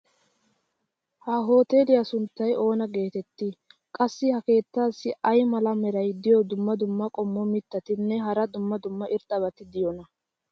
ha hoteeliyua sunttay oona geetettii? qassi ha keettaassi ay mala meray diyo dumma dumma qommo mitattinne hara dumma dumma irxxabati de'iyoonaa?